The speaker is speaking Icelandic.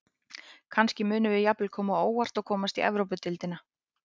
Kannski munum við jafnvel koma á óvart og komast í Evrópudeildina.